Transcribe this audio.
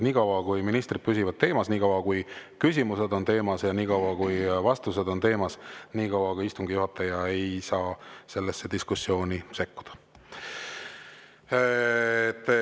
Niikaua kui ministrid püsivad teemas, niikaua kui küsimused on teemas ja niikaua kui vastused on teemas, ei saa istungi juhataja sellesse diskussiooni sekkuda.